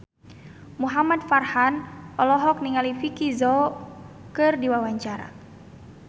Muhamad Farhan olohok ningali Vicki Zao keur diwawancara